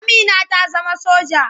Amina ta zama soja.